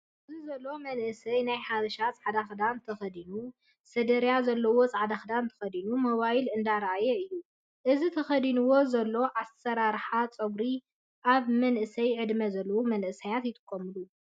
ኣብዚዘሎ መእሰይ ናይ ሓበሻ ፃዕዳ ክዳን ተከዲኑ ሰደርያ ዘለዎ ፃዕዳ ክዳን ተከዲኑ ሞባይል እንዳረኣየ እዩ። እዚ ተከዲኑዎ ዘሎ ኣሰራርሓ ፀጉሪ ኣብ መእሰይ ዕድመ ዘለው መናእሰይ ይጥቀምሉ